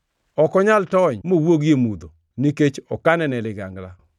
Ok onyal tony mowuogi e mudho; nikech okane ne ligangla.